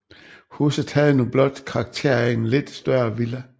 Huset havde nu blot karakter af en lidt større villa